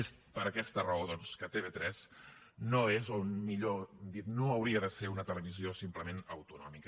és per aquesta raó doncs que tv3 no és o millor dit no hauria de ser una televisió simplement autonòmica